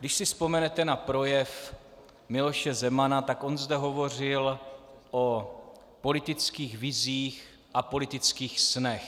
Když si vzpomenete na projev Miloše Zemana, tak on zde hovořil o politických vizích a politických snech.